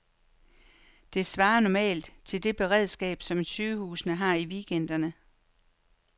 Det svarer normalt til det beredskab, som sygehuse har i weekender.